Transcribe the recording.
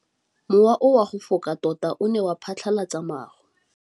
Mowa o wa go foka tota o ne wa phatlalatsa maru.